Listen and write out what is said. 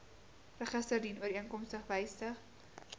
register dienooreenkomstig wysig